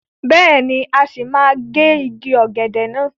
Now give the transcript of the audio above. Bẹ́ẹ̀ni, a sì máa gé igi ọ̀gẹ̀dẹ̀ náà.